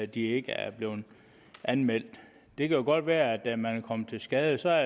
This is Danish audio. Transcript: de ikke er blevet anmeldt det kan godt være at man er kommet til skade og så er